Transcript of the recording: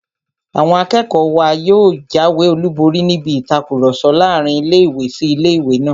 Àwọn akẹ́kọ̀ọ́ wa yóò jáwé olùborí níbi ìtakùrọ̀sọ láàrin ilé-ìwé sí ilé-ìwé náà